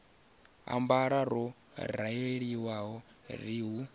ambara ho raliho ri hu